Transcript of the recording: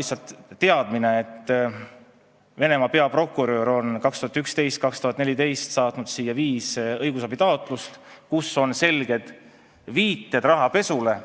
See, et Venemaa peaprokurör saatis 2011–2014 siia viis õigusabitaotlust, kus olid selged viited rahapesule,